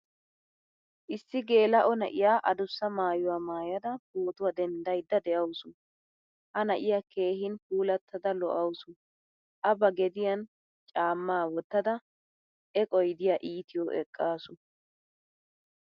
Issi gelao na'iyaa addussa maayuwaa maayda pootuwaa denddayda de'awusu. Ha na'iyaa keehin puulattada lo'awusu. A ba gediyan caama wottada eqqoy diya ittiyo eqqasu.